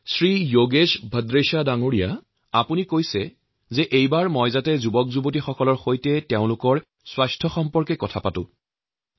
শ্ৰী যোগেশ ভদ্ৰেশাই মোক এইবাৰ যুবকসকলৰ স্বাস্থ্য প্ৰসংগত কিছু কোৱাৰ বাবে অনুৰোধ জনাইছিল